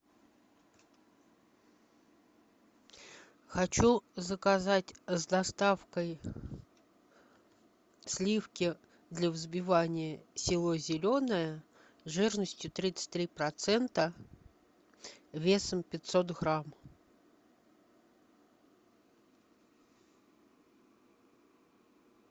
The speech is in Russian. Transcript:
хочу заказать с доставкой сливки для взбивания село зеленое жирностью тридцать три процента весом пятьсот грамм